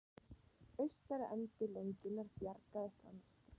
Austari endi lengjunnar bjargaðist að mestu